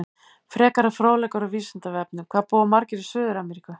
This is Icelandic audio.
Frekari fróðleikur á Vísindavefnum: Hvað búa margir í Suður-Ameríku?